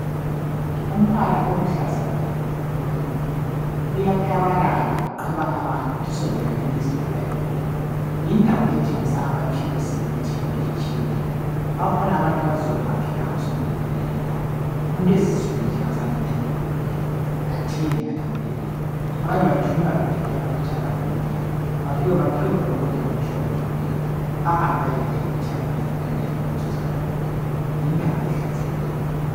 Umbalo oluhlaza lo ukhuluma impilo uyaklabalala uqweba abantu uthi sondelanini lizothola impila yindawo ethengisa amaphilizi lemithi yonke etshiyeneyo bakhona abantu abazizwa bengaphilanga umuntu ezizwe nje engayanga kudokotela